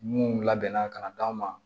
Mun labɛnna ka d'a ma